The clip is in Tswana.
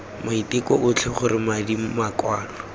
maiteko otlhe gore madi makwalo